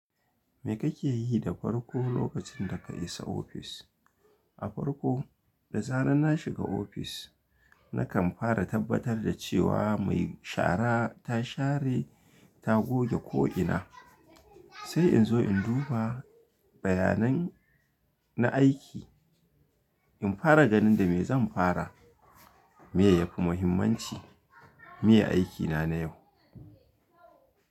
Me kake yi da farko lokacin da ka isa ofis? A farko, da zarar na shiga ofis, nakan fara tabbatar da cewa mai shara, ta share ta goge ko'ina, sai in zo in duba, bayanan na aiki, in fara ganin da me zan fara. Meye yafu mahimmanci, miye aikina na yau.